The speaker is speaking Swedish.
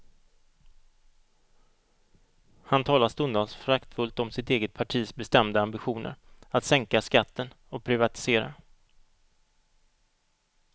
Han talar stundtals föraktfullt om sitt eget partis bestämda ambitioner att sänka skatten och privatisera.